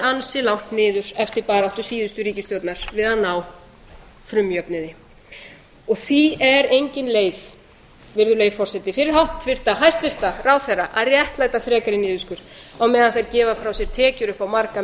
ansi langt niður eftir baráttu síðustu ríkisstjórnar við að ná frumjöfnuði virðulegi forseti því er engin leið fyrir hæstvirtan ráðherra að réttlæta frekari niðurskurð á meðan þeir gefa frá sér tekjur upp á marga